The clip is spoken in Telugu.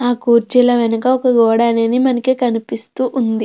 ఆ కూర్చిల వెనక ఒక గోడ అనేది మనకు కనిపిస్తూ ఉంది.